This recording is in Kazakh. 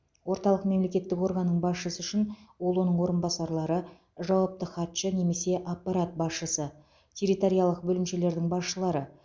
орталық мемлекеттік органның басшысы үшін ол оның орынбасарлары жауапты хатшы немесе аппарат басшысы территориялық бөлімшелердің басшылары